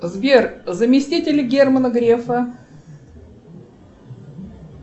сбер заместитель германа грефа